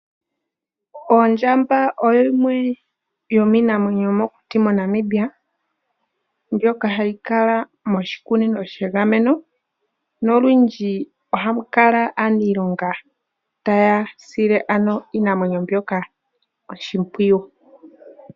Oondjamba odho yimwe yomiinamwenyo yomokuti moNamibia mbyoka hayi kala moshikunino shegameno nolundji ohamu kala aanilonga taya sile ano iinamwenyo mbyoka oshimpwiyu.